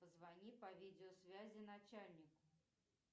позвони по видеосвязи начальнику